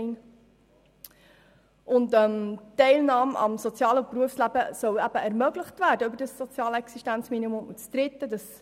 Zweitens soll die Teilnahme am sozialen und am Berufsleben über das soziale Existenzminimum ermöglicht werden.